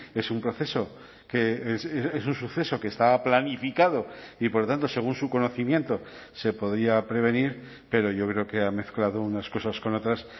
es un proceso que es un suceso que estaba planificado y por lo tanto según su conocimiento se podía prevenir pero yo creo que ha mezclado unas cosas con otras